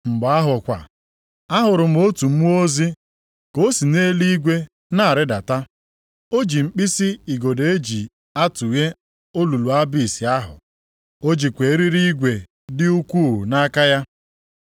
Mgbe ahụ kwa, ahụrụ m otu mmụọ ozi ka o si nʼeluigwe na-arịdata, o ji mkpisi igodo e ji atụghe olulu Abis ahụ. O jikwa eriri igwe dị ukwuu nʼaka ya.